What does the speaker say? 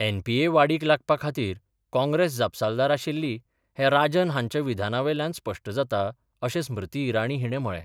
N P A वाडीक लागपा खातीर काँग्रेस जाबसालदार आशिल्ली हें राजन हांच्या विधानावेल्यान स्पष्ट जाता अशें स्मृती ईराणी हिणे म्हळे.